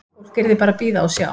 Fólk yrði bara að bíða og sjá.